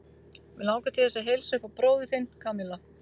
Mig langar til þess að heilsa upp á bróður þinn, Kamilla.